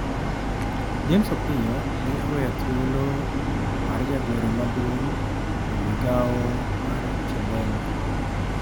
James Opiyo ne oweyo thuolo mar jagoro maduomg e migawo mar Chadema.